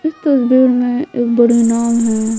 इस तस्वीर में एक बड़ी नाव है।